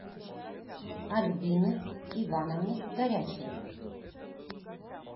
альбины ивановны горячевой